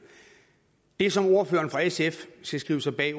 det som ordføreren fra sf skal skrive sig bag